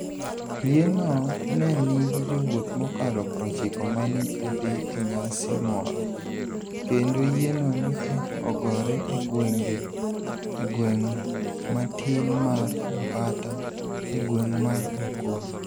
Yieno ni e niigi jowuoth mokalo 90 ma ni e dhi e niyasi moro, kenido yieno ni e ogore e gwenig' matini mar Mpatta e gwenig' mar Mukono.